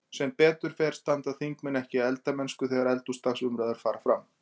Sem betur fer standa þingmenn ekki í eldamennsku þegar eldhúsdagsumræður fara fram.